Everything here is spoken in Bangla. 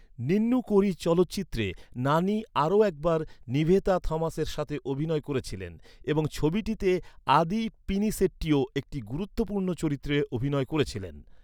নিন্নু কোরি চলচ্চিত্রে নানি আরও একবার নিভেতা থমাসের সাথে অভিনয় করেছিলেন এবং ছবিটিতে আদি পিনিসেট্টিও একটি গুরুত্বপূর্ণ চরিত্রে অভিনয় করেছিলেন।